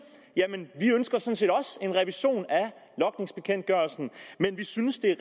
at en revision af logningsbekendtgørelsen men at de synes det er